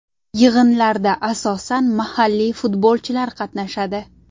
Yig‘inlarda asosan mahalliy futbolchilar qatnashadi.